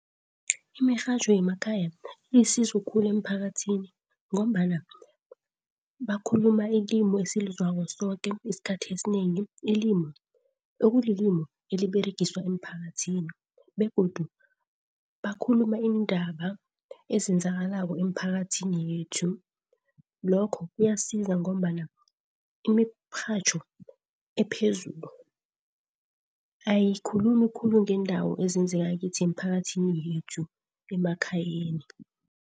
Imirhatjho yemakhaya ilisizo khulu emphakathini ngombana bakhuluma ilimu esilizwako soke isikhathi esinengi. Ilimu, ekulilimu eliberegiswa emphakathini begodu bakhuluma iindaba ezenzakalako emphakathini yethu. Lokho kuyasiza ngombana imirhatjho ephezulu ayikhulumi khulu ngendawo ezenzeka kithi, emiphakathini yethu emakhayeni.